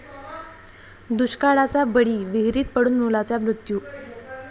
दुष्काळाचा बळी, विहिरीत पडून मुलाचा मृत्यू